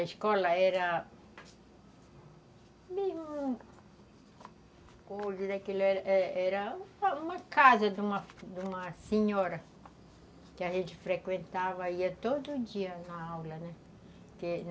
A escola era... Era uma casa de uma de uma senhora que a gente frequentava, ia todo dia na aula, né que